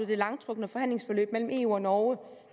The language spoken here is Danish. det langtrukne forhandlingsforløb mellem eu og norge